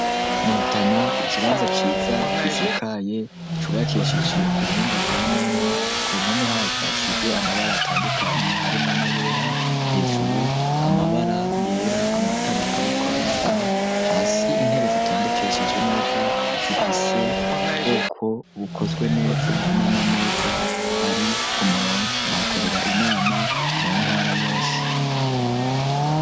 Mu rutana ikibanza ciza gisakaye cubakishije ku buhinga bwa none. Ku mpome haco hasize amabara atandukanye harimo na yera hejuru amabara yera amatara ariko araka hasi intebe zitondekeshije neza zifise bwoko bukozwe neza n'amameza ari kumurongo bahakorera inama mu ntara yose.